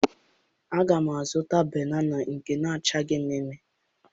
Aga m azụta banana nke na-acha mme mme